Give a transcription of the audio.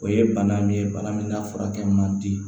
O ye bana min ye bana min n'a furakɛ man di